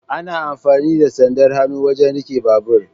Ana amfani da sandar hannu wajen riƙe babur.